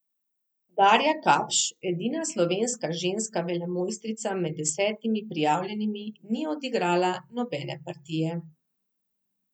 Darja Kapš, edina slovenska ženska velemojstrica med desetimi prijavljenimi, ni odigrala nobene partije.